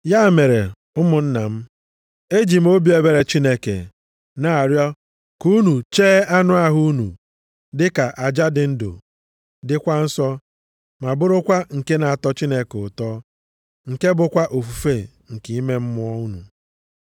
Ya mere, ụmụnna m, eji m obi ebere Chineke na-arịọ ka unu chee anụ ahụ unu dịka aja dị ndụ, dịkwa nsọ, ma bụrụkwa nke na-atọ Chineke ụtọ, nke bụkwa ofufe nke ime mmụọ unu.